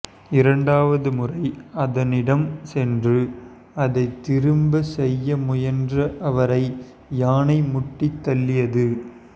இரண்டாவது முறை அதனிடம் சென்று அதை திரும்ப செய்ய முயன்ற அவரை யானை முட்டி தள்ளியது